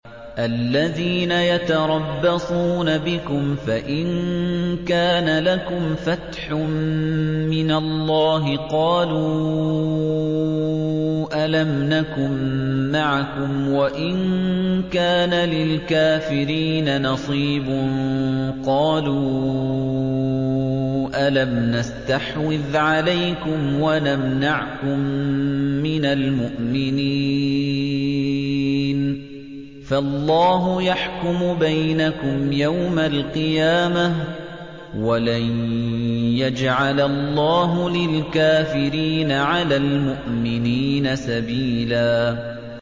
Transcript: الَّذِينَ يَتَرَبَّصُونَ بِكُمْ فَإِن كَانَ لَكُمْ فَتْحٌ مِّنَ اللَّهِ قَالُوا أَلَمْ نَكُن مَّعَكُمْ وَإِن كَانَ لِلْكَافِرِينَ نَصِيبٌ قَالُوا أَلَمْ نَسْتَحْوِذْ عَلَيْكُمْ وَنَمْنَعْكُم مِّنَ الْمُؤْمِنِينَ ۚ فَاللَّهُ يَحْكُمُ بَيْنَكُمْ يَوْمَ الْقِيَامَةِ ۗ وَلَن يَجْعَلَ اللَّهُ لِلْكَافِرِينَ عَلَى الْمُؤْمِنِينَ سَبِيلًا